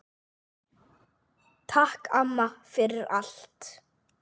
Takk, amma, takk fyrir allt.